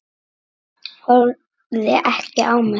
Horfði ekki á mig.